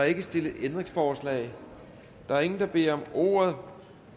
ikke stillet ændringsforslag der er ingen der beder om ordet